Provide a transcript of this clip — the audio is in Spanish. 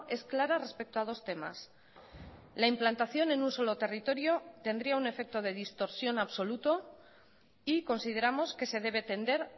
es clara respecto a dos temas la implantación en un solo territorio tendría un efecto de distorsión absoluto y consideramos que se debe tender